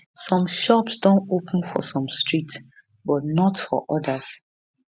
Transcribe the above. some shops don open for some streets but not for odas